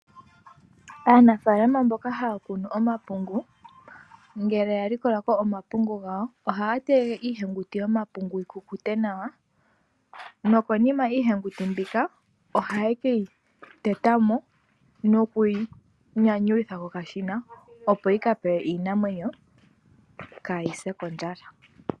Aanafalama mboka haya kunu omapungu ngele ya likola omapungu gawo ohaya tege iihenguti yomapungu yiku kute nawa, nokonima iihenguti mbyika ohaye keyi tetamo nokuyi nyanyulitha kokashina opo yi kapewe iinamwenyo ka yise kondjala.